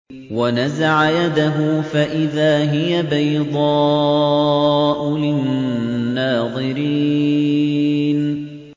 وَنَزَعَ يَدَهُ فَإِذَا هِيَ بَيْضَاءُ لِلنَّاظِرِينَ